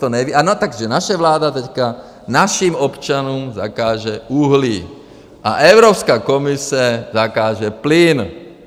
Takže naše vláda teď našim občanům zakáže uhlí a Evropská komise zakáže plyn.